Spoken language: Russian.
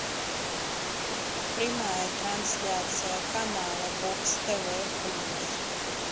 прямая трансляция канала бокс тв плюс